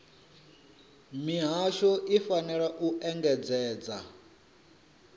mihasho i fanela u engedzedza